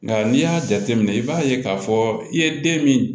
Nka n'i y'a jateminɛ i b'a ye k'a fɔ i ye den min